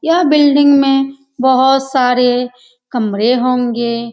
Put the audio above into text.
यह बिल्डिंग में बहुत सारे कमरे होंगे ।